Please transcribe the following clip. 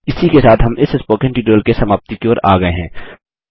इसी के साथ हम इस स्पोकन ट्यूटोरियल के समाप्ति की ओर आ गये हैं